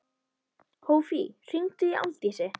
Hófí, hringdu í Aldísi.